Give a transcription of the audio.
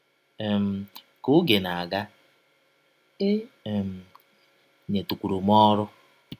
um Ka ọge na - aga, e um nyetụkwuru m ọrụ.